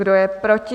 Kdo je proti?